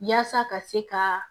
Yaasa ka se ka